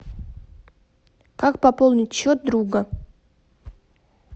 как пополнить счет друга